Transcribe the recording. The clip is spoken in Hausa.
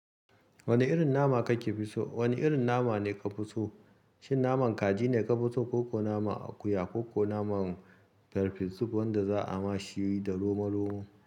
Wane irin nama kake so? Wane irin nama ne ka fi so, shin naman kaji ne ka fi so ko kuwa naman akuya kokuwa naman farfesu wanda za'a ma shi da roma-romo?